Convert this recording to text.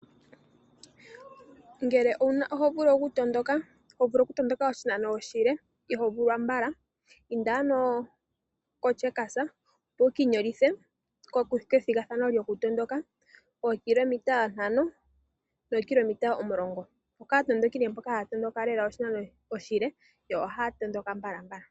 Ngele oho vulu okutondoka oshinano oshile ihoovulwa mbala inda ano koCheckers opo wuki inyolithe kethgathano lyokutondoka oo 5Km no 10Km. Okaatondoki mboka haya tondoka oshinano oshile yo ohaya endelele.